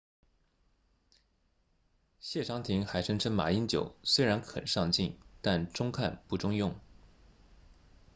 谢长廷还声称马英九虽然很上镜但中看不中用